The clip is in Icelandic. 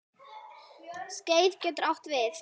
Skeið getur átt við